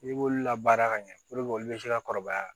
N'i b'olu la baara ka ɲɛ olu bɛ se ka kɔrɔbaya